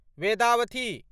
Vedavathi